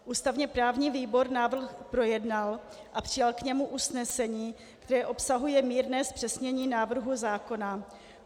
Ústavně právní výbor návrh projednal a přijal k němu usnesení, které obsahuje mírné zpřesnění návrhu zákona.